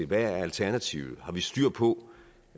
hvad alternativet er har vi styr på